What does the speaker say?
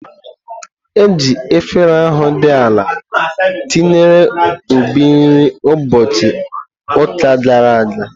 Eji efere ahu di ala ntinyere Obi nri ụbọchị ụka gara aga.